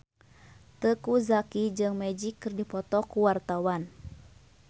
Teuku Zacky jeung Magic keur dipoto ku wartawan